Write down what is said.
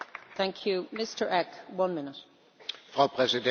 Frau Präsidentin, verehrte Kolleginnen und Kollegen!